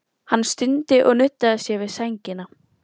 Hann stundi og nuddaði sér við sængina.